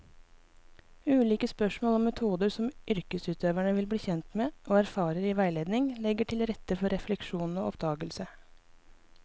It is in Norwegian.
Ulike spørsmål og metoder som yrkesutøverne blir kjent med og erfarer i veiledning, legger til rette for refleksjon og oppdagelse.